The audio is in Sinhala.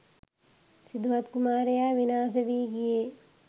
සිදුහත් කුමාරයා විනාශ වී ගියේ